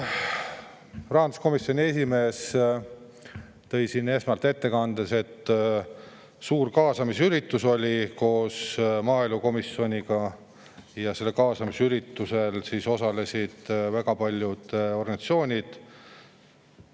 Rahanduskomisjoni esimees tõi siin ettekandes välja, et oli suur kaasamisüritus koos maaelukomisjoniga ja sellel kaasamisüritusel osalesid väga paljud organisatsioonid.